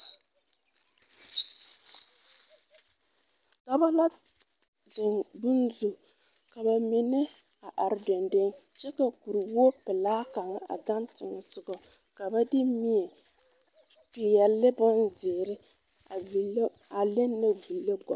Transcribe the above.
Dɔba la zeŋ bone zu ka ba mine a are deŋdeŋe kyɛ ka kuriwogipɛlaa kaŋa a gaŋ teŋɛsoga ka ba de mie peɛle ne bonzeere a ville a lenne viire gɔllɔ.